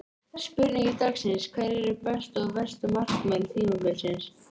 Spurning dagsins: Hverjir eru bestu og verstu markmenn tímabilsins?